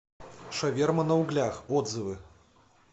шаверма на углях отзывы